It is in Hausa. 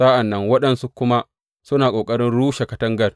Sa’an nan waɗansu kuma suna ƙoƙarin rushe katangar.